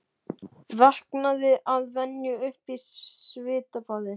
Vaknaði að venju upp í svitabaði.